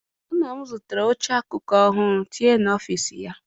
Nna m zụtara oche akụkụ ọhụụ tinye n'ọfịịsi ya.